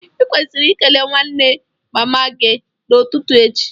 I kwesiri ikele nwanne mama gi n'ututu echi